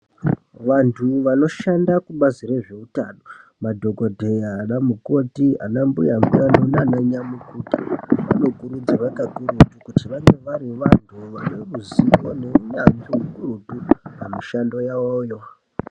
Vantu vanoshanda kubazi re zveutano madhokodheya ana mukoti ana mbuya utano nana nyamukuta vano kurudzirwa kakurutu kuti vange vane ruzivo ne unyanzvi rukurutu pamu shando yavoyo.